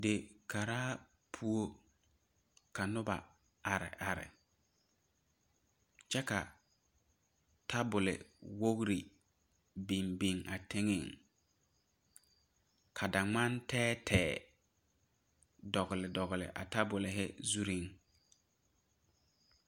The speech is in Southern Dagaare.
Dikaara poɔ ka noba are are kyɛ ka tabol wogre biŋ biŋ a teŋa ka daŋmane tɛɛtɛɛ dogle dogle a tabolyɛ zure.